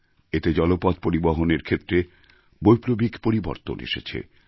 এতে জলপথ পরিবহণের ক্ষেত্রে বৈপ্লবিক পরিবর্তন এসেছে